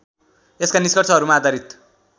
यसका निष्कर्षहरूमा आधारित